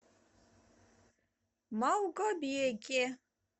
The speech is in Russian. малгобеке